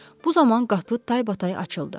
Bu zaman qapı taybatay açıldı.